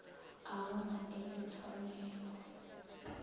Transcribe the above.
o bona e le tshwanelo